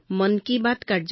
গতিকে এতিয়া ই অতি জনপ্ৰিয়